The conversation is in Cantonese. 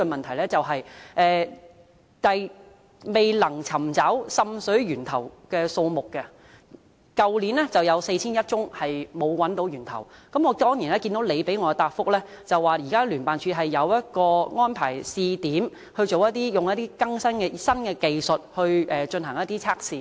去年"未能尋找滲水源頭的個案數目"為4100多宗，而局長在主體答覆中表示，聯辦處現正安排於試點地區使用新技術進行測試。